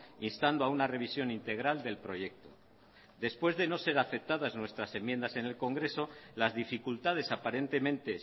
instando a una revisión integral del proyecto después de no ser aceptadas nuestras enmiendas en el congreso las dificultades aparentemente